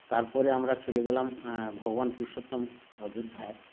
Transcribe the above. তারপরে আমরা চলে গেলাম এ ভগবান পুরুষোত্তম অযোধ্যায়